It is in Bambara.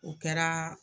O kɛra